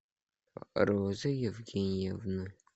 розы евгеньевны